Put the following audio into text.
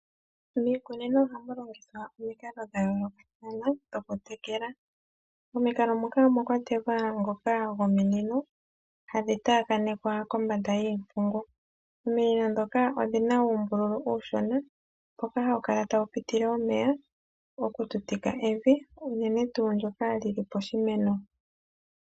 Miikunino ohamu longithwa omikalo dha yoolokathana dhokutekela. Momikalo moka omwa kwatelwa ngoka gominino hadhi taakanekwa kombanda yiimpungu. Ominino ndhoka odhi na uumbululu uushona mpoka ha pu piti omeya oku tutika evi unene tuu ndyoka li li poshimeno.